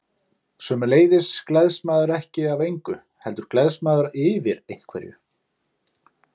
Sömuleiðis gleðst maður ekki af engu, heldur gleðst maður yfir einhverju.